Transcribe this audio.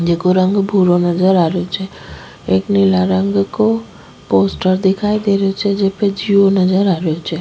जेको रंग भूरो नजर आ रहो छे एक नीला रंग को पोस्टर दिखाई दे रेहो छे जेपे जिओ नजर आ रेहो छ।